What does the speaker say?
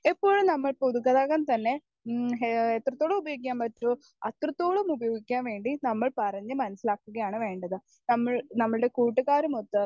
Speaker 1 എപ്പോഴും നമ്മൾ പൊതുഗതാഗതം തന്നെ ഉം ഏഹ് എത്രത്തോളം ഉപയോഗിക്കാൻ പറ്റുമോ അത്രത്തോളം ഉപയോഗിക്കാൻ വേണ്ടി നമ്മൾ പറഞ്ഞു മനസ്സിലാക്കുകയാണ് വേണ്ടത്. നമ്മൾ നമ്മുടെ കൂട്ടുകാരുമൊത്ത്